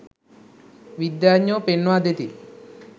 විද්‍යාඥයෝ පෙන්වා දෙති.